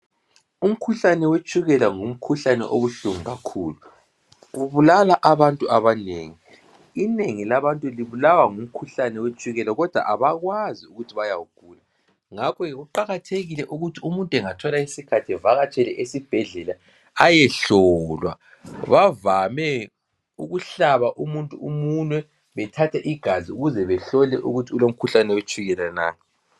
Umkhuhlane wetshukela ngumkhuhlane obuhlungu kakhulu. Ubulala abantu abanengi, inengi labantu libulawa ngumkhuhlane wetshukela kodwa abakwazi ukuthi bayawugula. ngakho kuqakathekile ukuthi umuntu bengathola isikhathi evakatshele esibhedlela ayehlolwa. Bavame ukuhlaba umuntu umunwe bethathe igazi ukuze behlole ukuthi ulomkhuhlane wetshukela na.